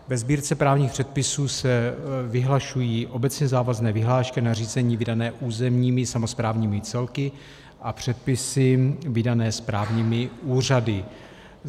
Ve Sbírce právních předpisů se vyhlašují obecně závazné vyhlášky a nařízení vydané územními samosprávnými celky a předpisy vydané správními úřady.